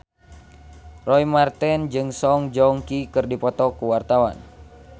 Roy Marten jeung Song Joong Ki keur dipoto ku wartawan